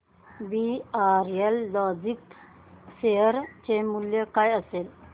VRL logistics share चे मूल्य काय असेल